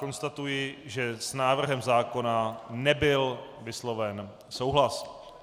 Konstatuji, že s návrhem zákona nebyl vysloven souhlas.